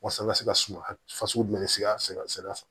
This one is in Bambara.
Waasa an ka se ka suma fasugu jumɛn sigi sira fɛ